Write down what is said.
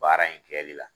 Baara in kɛli la